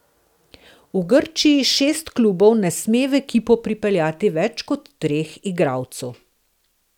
V Grčiji šest klubov ne sme v ekipo pripeljati več kot treh igralcev.